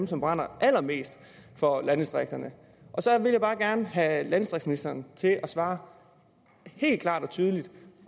som brænder allermest for landdistrikterne så jeg vil bare gerne have landdistriktsministeren til at svare helt klart og tydeligt